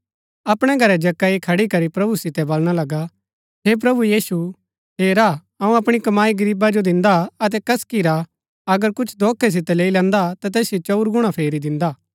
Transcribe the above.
अपणै घरै जक्कई खड़ी करी प्रभु सितै वलणा लगा हे प्रभु यीशु हेरा अऊँ अपणी कमाई गरीबा जो दिन्दा हा अतै कसकी रा अगर कुछ धोखै सितै लैई लैन्दा ता तैसिओ चंऊर गुणा फेरी दिन्दा